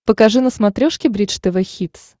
покажи на смотрешке бридж тв хитс